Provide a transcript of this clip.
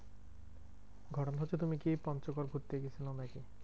ঘটনা হচ্ছে তুমি কি পঞ্চগড় ঘুরতে গেছিলা নাকি?